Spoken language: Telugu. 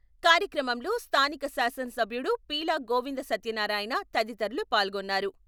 కార్యక్రమంలో స్థానిక శాసనసభ్యుడు పీలా గోవింద సత్యన్నారాయణ, తదితరులు పాల్గొన్నారు.